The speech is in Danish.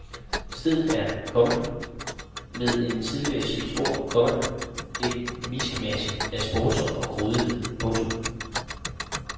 Stedet er, komma med en tidligere chefs ord, komma et miskmask af sportsånd og grådighed. punktum